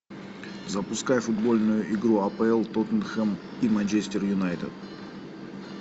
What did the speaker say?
запускай футбольную игру апл тоттенхэм и манчестер юнайтед